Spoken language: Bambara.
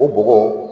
O bɔgɔ